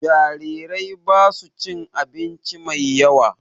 Jarirai basu cin abinci mai yawa